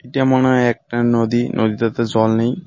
এইটা মনে হয় একটা নদী নদীতেতো জল নেই।